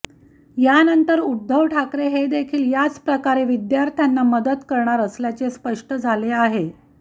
यानंतर उध्दव ठाकरे हे देखील याच प्रकारे विद्यार्थ्यांना मदत करणार असल्याचे स्पष्ट झाले आहे